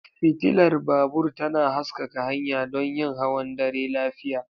Fitilar babur tana haskaka hanya don yin hawan dare lafiya.